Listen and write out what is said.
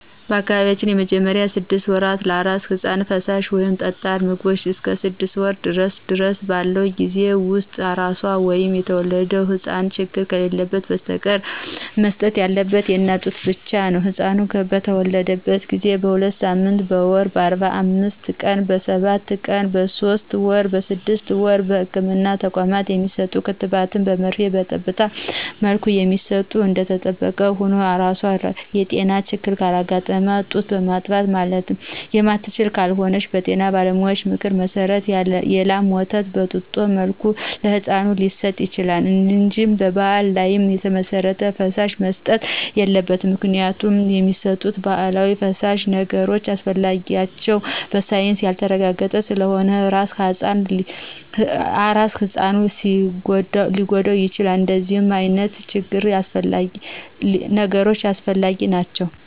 በአካባቢያችን በመጀመሪያ ስድስት ወራት ለአራስ ህጻን ፈሳሽ ወይም ጠጣር ምግቦቾ እስከ ስድስት ወር ድረስ ባለው ጊዜ ውስጥ አራሷ ወይም የተወለደው ህጻን ችግር ከሌለበት በስተቀር መሰጠት ያለበት የእናት ጡት ብቻ ነው። ህጻኑ በተተወለደ ጊዜ: በሁለትሳምንት: በወር :በአርባአምስት ቀን :በሰባሁለት ቀን በሶስት ወር: በስድስት ወር በህክምና ተቋማት የሚሰጡ ክትባት በመርፌና በጠብታ መልክ የሚሰጡ እደተጠበቀ ሁኖ አራሷ የጤና ችግር ካጋጠማትና ጡት ማጥባት የማትችል ከሆነች በጤና ባለሙያዎች ምክር መሰረት የላም ወተት በጡጦ መልክ ለህጻኑ ሊሰጥ ይችላል እንጂ በባህል ላይ የተመሰረተ ፈሳሽ መሰጠት የለበትም ምክንያቱም የሚሰጡት ባህላዊ ፈሳሽ ነገሮች አስፈላጊነታቸው በሳይንስ ያልተረጋገጠ ስለሆነ አራስ ህጻኑን ሊጎዳው ይችላል እደነዚህ አይነት ነገሮች አላስፈላጊ ናቸው።